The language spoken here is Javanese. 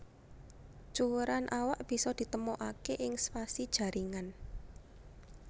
Cuwèran awak bisa ditemokaké ing spasi jaringan